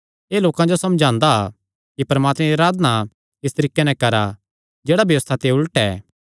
एह़ लोकां जो समझांदा कि परमात्मे दी अराधना इस तरीके नैं करा जेह्ड़ा व्यबस्था दे उलट ऐ